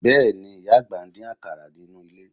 Bẹ́ẹ̀ni, ìyá àgbà ń dín àkàrà nínú ilé